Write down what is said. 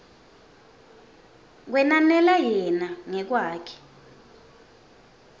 kwenanela yena ngekwakhe